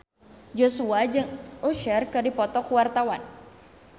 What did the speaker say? Joshua jeung Usher keur dipoto ku wartawan